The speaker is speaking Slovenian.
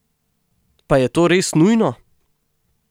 Pa je to res nujno?